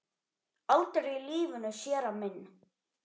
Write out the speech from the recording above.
Aldrei í lífinu, séra minn.